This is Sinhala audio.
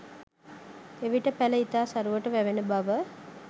එවිට පැල ඉතා සරුවට වැවෙන බව